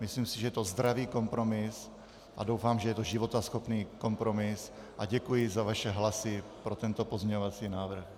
Myslím si, že je to zdravý kompromis, a doufám, že je to životaschopný kompromis, a děkuji za vaše hlasy pro tento pozměňovací návrh.